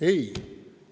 Ei!